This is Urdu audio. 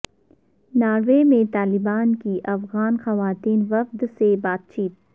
ناروے میں طالبان کی افغان خواتین وفد سے بات چیت